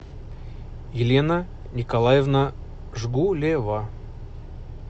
елена николаевна жгулева